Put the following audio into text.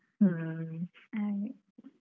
ಹ್ಮ್.